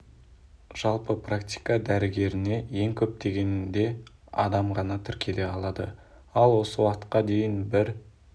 жалпы практика дәрігеріне ең көп дегенде адам ғана тіркеле алады ал осы уақытқа дейін бір